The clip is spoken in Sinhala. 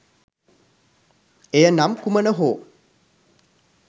එය නම් කුමන හෝ